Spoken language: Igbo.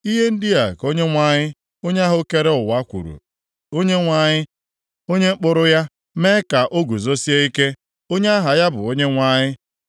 “Ihe ndị a ka Onyenwe anyị, onye ahụ kere ụwa kwuru, Onyenwe anyị, onye kpụrụ ya mee ya ka o guzosie ike, Onye aha ya bụ Onyenwe anyị: